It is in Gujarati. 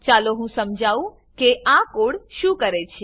ચાલો હું સમજાઉં કે આ કોડ શું કરે છે